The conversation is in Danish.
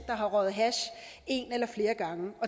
har røget hash en eller flere gange